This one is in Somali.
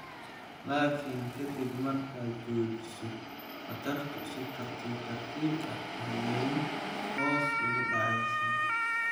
Laakiin ka dib markaad joojiso, khatartu si tartiib tartiib ah ayey hoos ugu dhacaysaa.